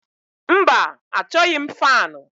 Mba achọghị m faanụ.